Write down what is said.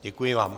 Děkuji vám.